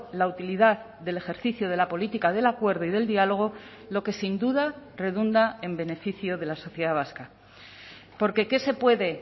la utilidad del ejercicio de la política del acuerdo y del diálogo lo que sin duda redunda en beneficio de la sociedad vasca porque qué se puede